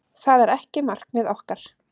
Það er ekki markmið okkar.